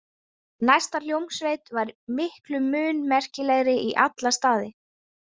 Næsta hljómsveit var miklu mun merkilegri í alla staði.